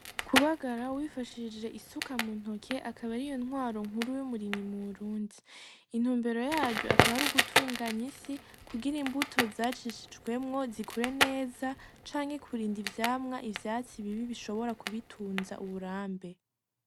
Kubagara wifashishije isuka mu ntoke akaba ariyo ntwaro nkuru y’umurimyi mu Burundi , intumbero yaryo akaba ari gutunganya isi kugira imbuto zacishijwemwo zikure neza canke kurinda ivyamwa ivyatsi bibi bishobora kubitunza uburambe.